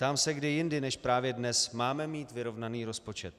Ptám se, kdy jindy než právě dnes máme mít vyrovnaný rozpočet.